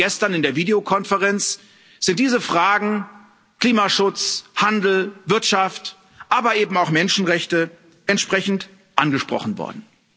Gerade gestern in der Videokonferenz sind diese Fragen Klimaschutz, Handel, Wirtschaft, aber eben auch Menschenrechte entsprechend angesprochen worden.